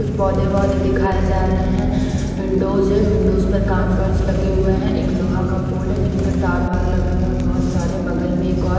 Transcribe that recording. कुछ पौधे वोधे दिखाए जा रहे हैं विंडोज है विंडोज पर काच वाच लगे हुए हैं एक लोहा का पोल है जिसपे तार वार लगे हुए हैं बहुत सारे बगल में एक और--